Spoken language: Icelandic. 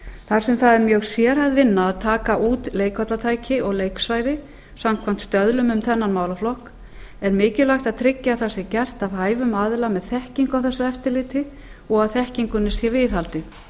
þar sem það er mjög sérhæfð vinna að taka út leikvallatæki og leiksvæði samkvæmt stöðlum um þennan málaflokk er mikilvægt að tryggja að það sé gert af hæfum aðila með þekkingu á þessu eftirliti og að þekkingunni sé viðhaldið